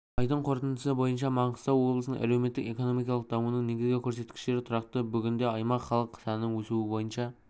айдың қорытындысы бойынша маңғыстау облысының әлеуметтік-экономикалық дамуының негізгі көрсеткіштері тұрақты бүгінде аймақ халық санының өсуі бойынша